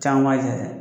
Caman b'a jɛ dɛ